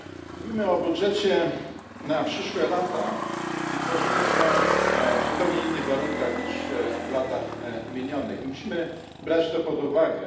Mówimy o budżecie na przyszłe lata i tworzymy go w zupełnie innych warunkach niż w latach minionych musimy brać to pod uwagę.